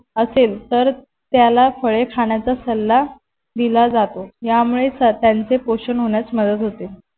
असेल तर तायाला फळे खाण्याचा सल्ला दिला जातो या मुळेच त्यांचे पोषण होण्यास मदत होते.